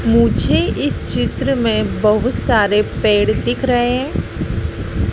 मुझे इस चित्र में बहुत सारे पेड़ दिख रहे--